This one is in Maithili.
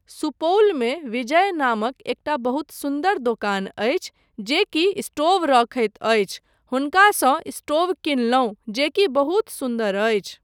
सुपौलमे विजय नामक एकटा बहुत सुन्दर दोकान अछि जेकि स्टोव रखैत अछि, हुनकासँ स्टोव कीनलहुँ जेकि बहुत सुन्दर अछि।